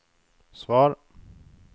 svar